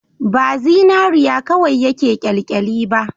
Ba zinariya kawai yake kyalkyali ba